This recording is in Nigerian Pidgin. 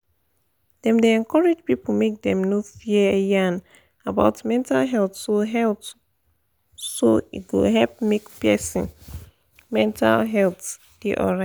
dem dey encourage people make dem no fear yan about mental health so health so e go help make person mental health da alright